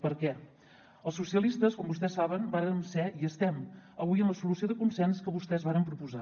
per què els socialistes com vostès saben vàrem ser i estem avui en la solució de consens que vostès varen proposar